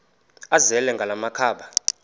azele ngala makhaba